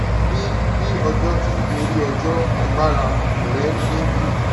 bí bí ọjọ ti ń gorí ọjọ agbára rẹ ń dín kù